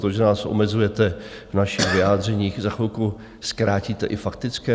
To, že nás omezujete v našich vyjádřeních, za chvilku zkrátíte i faktické?